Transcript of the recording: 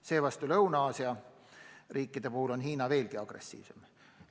Seevastu Lõuna-Aasia riikide puhul on Peking aina agressiivsem.